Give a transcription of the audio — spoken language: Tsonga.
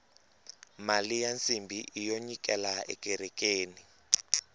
mali ya nsimbhi iyo nyikela ekerekeni